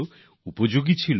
লাভজনক ছিল